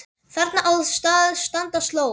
Þarna á að standa sló.